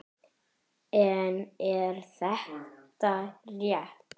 En er þetta rétt?